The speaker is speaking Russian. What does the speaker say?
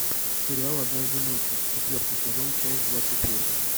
сериал однажды ночью четвертый сезон часть двадцать восемь